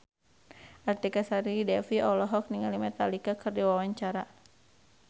Artika Sari Devi olohok ningali Metallica keur diwawancara